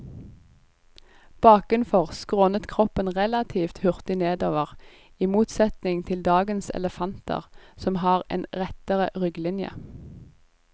Bakenfor skrånet kroppen relativt hurtig nedover, i motsetning til dagens elefanter som har en rettere rygglinje.